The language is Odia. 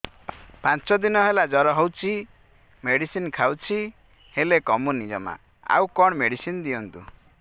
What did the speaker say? ପାଞ୍ଚ ଦିନ ହେଲା ଜର ହଉଛି ମେଡିସିନ ଖାଇଛି ହେଲେ କମୁନି ଜମା ଆଉ କଣ ମେଡ଼ିସିନ ଦିଅନ୍ତୁ